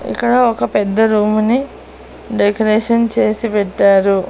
ఇక్కడ ఒక పెద్ద రూము ని డెకరేషన్ చేసి పెట్టారు.